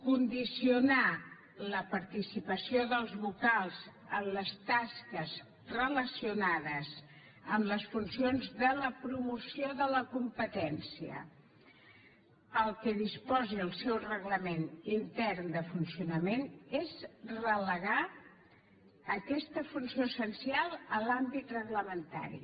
condicionar la participació dels vocals en les tasques relacionades amb les funcions de la promoció de la competència al que disposi el seu reglament intern de funcionament és relegar aquesta funció essencial a l’àmbit reglamentari